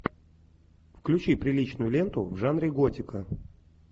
включи приличную ленту в жанре готика